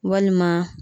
Walima